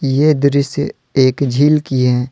ये दृश्य एक झील की है।